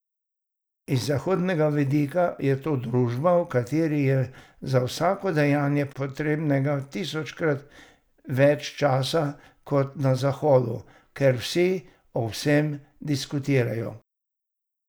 Z zahodnega vidika je to družba, v kateri je za vsako dejanje potrebnega tisočkrat več časa kot na zahodu, ker vsi o vsem diskutirajo.